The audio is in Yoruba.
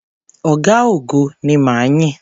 Ọ̀gá-ogo ni ma yìn.